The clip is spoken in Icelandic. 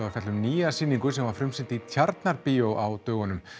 að fjalla um nýja sýningu sem var frumsýnd í Tjarnarbíói á dögunum